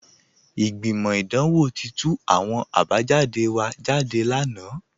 Ìgbimọ́ idanwò ti tú àwọn àbájàdé wa jádé lánà